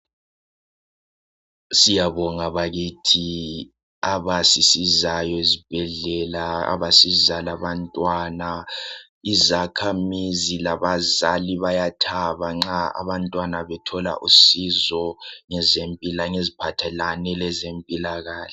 Siyabonga bakithi abasisizayo ezibhedlela abasiza labantwana, izakhamizi labazali bayathaba nxa abantwana bethola usizo ngeziphathelane lezempilakahle.